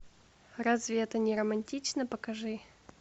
разве это не романтично покажи